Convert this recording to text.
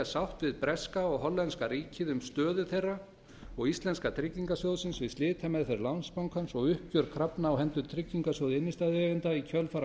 sátt við breska og hollenska ríkið um stöðu þeirra og íslenska tryggingarsjóðsins við slitameðferð landsbankans og uppgjör krafna á hendur tryggingarsjóði innstæðueigenda í kjölfar